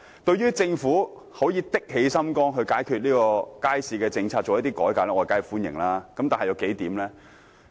對於政府決心解決街市問題並提出改革建議，我當然表示歡迎。